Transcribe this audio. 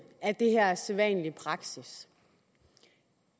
at det her er sædvanlig praksis